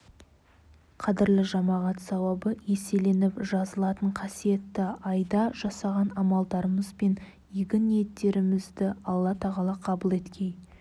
қадірлі жамағат сауабы еселеніп жазылатын қасиетті айда жасаған амалдарымыз бен ізгі ниеттерімізді алла тағала қабыл еткей